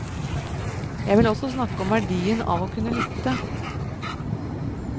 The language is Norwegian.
Jeg vil også snakke om verdien av å kunne lytte.